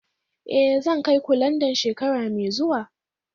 Eh, zan kai ku Landan shekara mai zuwa